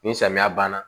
Ni samiya banna